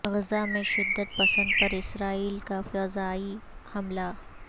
غزہ میں شدت پسند پر اسرائیل کا فضائی حملہ